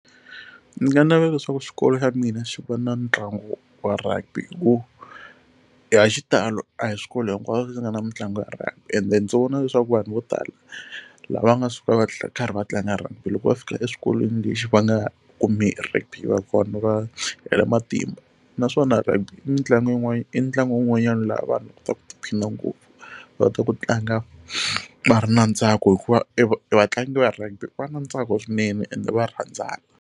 Ndzi nga navela leswaku xikolo xa mina xi va na ntlangu wa rugby hi ku a hi xitalo a hi swikolo hinkwaswo leswi nga na mitlangu ya rugby ende ndzi vona leswaku vanhu vo tala lava nga suka va karhi va tlanga rugby loko va fika eswikolweni lexi va nga va hela matimba naswona rugby i mitlangu yin'wana i ntlangu wun'wanyani laha vanhu va kotaka ku tiphina ngopfu va ta ku tlanga va ri na ntsako hikuva e vatlangi va rugby va na ntsako swinene ende va rhandzana.